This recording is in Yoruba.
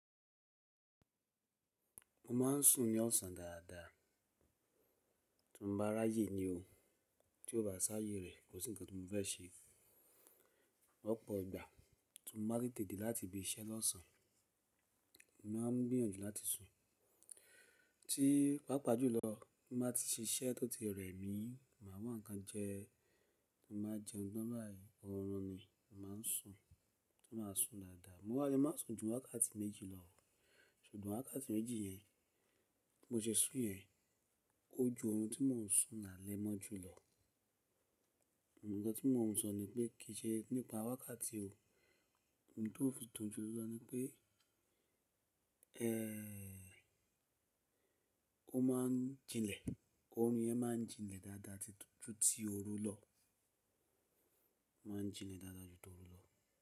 Mo maa ń sùn ní ọ̀sán dáadáa. Tí mo bá rá yé ni o. Tí o bá sáyé rẹ̀, kò sí nǹkan ti mo fẹ́ ṣe. Ọ̀pọ̀ ìgbà tí mo bá tete de láti ibi iṣẹ́ lọ́sàn-án, mo máa ń gbíyànjù láti sùn. Tíi, pàápàá jùlọ tí mo bá ti ṣiṣẹ́ tó ti rẹ̀ mí, màá wà nǹkan jẹ, ti mo ba jẹun tan bayii, orun ni mo máa ń sùn, ti máa sùn dáadáa. Mo wá le má sùn ju wákàtí méjì lọ, ṣùgbọ́n wákàtí méjì yẹn bi mo se sùn yẹn o ju orun tí mò ń sùn lálẹ́ moju lo gbogbo nkan tí mò ń sọ ni pé kì í se nípa wákàtí o, ohun tó ń fi dun jù lọ ni pé, ẹ́, ó máa ń jinlẹ̀, ọrún yẹn máa ń jinlẹ̀ dáadáa ju tí oru lọ. Ó máa ń jinlẹ̀ dáadáa ju tí oru lọ.